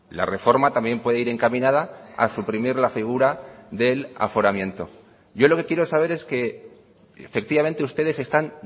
la reforma también puede ir encaminada a suprimir la figura del aforamiento yo lo que quiero saber es que efectivamente ustedes están